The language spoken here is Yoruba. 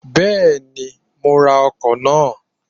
Bẹ́ẹ̀ni, mo máa ra ọkọ̀ náà.